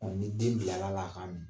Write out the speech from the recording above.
ni den bilar'a la, a k'a min